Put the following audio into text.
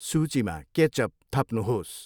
सूचीमा केचअप थप्नुहोस्